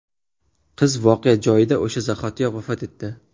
Qiz voqea joyida o‘sha zahotiyoq vafot etdi.